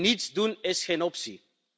Niets doen is geen optie.